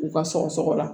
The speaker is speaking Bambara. U ka sɔgɔ sɔgɔ la